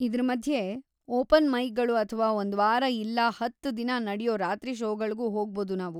ಇದ್ರ ಮದ್ಯೆ, ಓಪನ್‌ ಮೈಕ್‌ಗಳು ಅಥ್ವಾ‌ ಒಂದ್ವಾರ ಇಲ್ಲಾ ಹತ್ತು ದಿನ ನಡ್ಯೋ ರಾತ್ರಿ ಷೋಗಳ್ಗೂ ಹೋಗ್ಬೋದು ನಾವು.